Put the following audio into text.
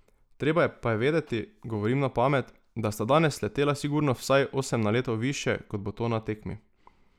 Treba pa je vedeti, govorim na pamet, da sta danes letela sigurno vsaj osem naletov višje, kot bo to na tekmi!